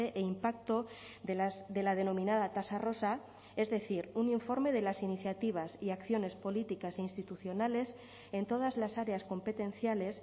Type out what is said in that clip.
e impacto de la denominada tasa rosa es decir un informe de las iniciativas y acciones políticas e institucionales en todas las áreas competenciales